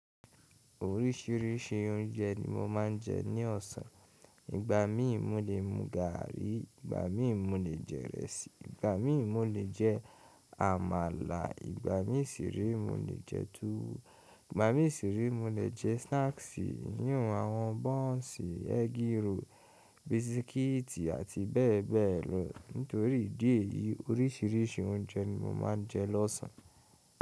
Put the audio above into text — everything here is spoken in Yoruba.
Oríṣiríṣi ounje ni mo máa ń jẹ ní ọ̀sán. Ìgbà mí mú le mú gààrí, ìgbà mí mú le jẹ ìrẹsì, ìgbà mí mú le jẹ àmàlà, ìgbà mí sì re mo le jẹ túwó, ìgbà mí sì re mo le jẹ snacks eyinhùn àwọn buns, eggroll, biscuits àti bẹ́ẹ̀ bẹ́ẹ̀ lọ. Nítorí dì é yí oríṣiríṣi ounje ni mo máa ń jẹ lọ́sàn.